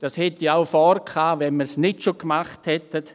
Das hätte ich auch vorgehabt, wenn wir es nicht schon getan hätten.